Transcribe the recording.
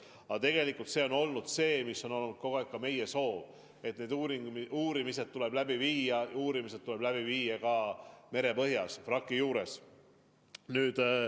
Aga tegelikult on olnud kogu aeg meiegi soov, et uurimised tuleb läbi viia ka merepõhjas vraki juures.